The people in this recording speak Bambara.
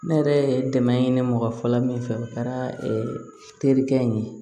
Ne yɛrɛ ye dɛmɛ ye ne mɔgɔ fɔlɔ min fɛ o kɛra terikɛ in ye